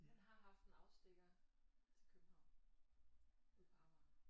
Men har haft en afstikker til København ude på Amager